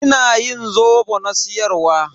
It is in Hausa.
Ina yin zobo na siyar wa.